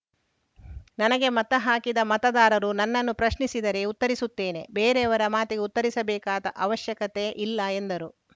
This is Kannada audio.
ನನಗೆ ಮತ ಹಾಕಿದ ಮತದಾರರು ನನ್ನನ್ನು ಪ್ರಶ್ನಿಸಿದರೆ ಉತ್ತರಿಸುತ್ತೇನೆ ಬೇರೆಯವರ ಮಾತಿಗೆ ಉತ್ತರಿಸಬೇಕಾದ ಅವಶ್ಯಕತೆ ಇಲ್ಲ ಎಂದರು